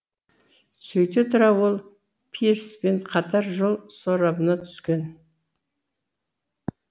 сөйте тұра ол пирспен қатар жол сорабына түскен